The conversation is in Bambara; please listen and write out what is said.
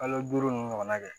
Kalo duuru ninnu ɲɔgɔn na kɛ